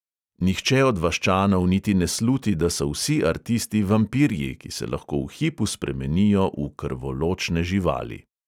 Nihče od vaščanov niti ne sluti, da so vsi artisti vampirji, ki se lahko v hipu spremenijo v krvoločne živali.